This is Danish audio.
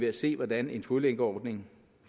at se hvordan en fodlænkeordning